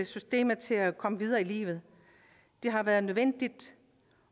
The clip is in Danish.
systemet til at komme videre i livet det har været nødvendigt